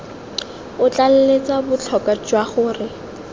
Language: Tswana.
o tlaleletsa botlhokwa jwa gore